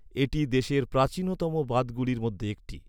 এটি দেশের প্রাচীনতম বাঁধগুলির মধ্যে একটি।